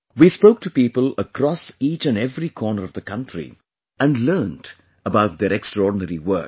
We spoke to people across each and every corner of the country and learnt about their extraordinary work